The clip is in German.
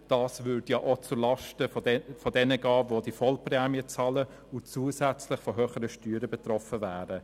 Dieser würde denn auch zulasten derjenigen gehen, welche die volle Prämie bezahlen und zusätzlich von höheren Steuern betroffen wären.